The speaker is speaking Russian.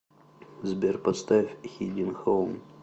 сбер поставь хидинг хоум